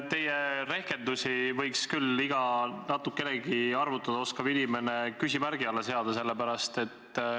Teie rehkendused võiks iga natukenegi arvutada oskav inimene küll küsimärgi alla seada.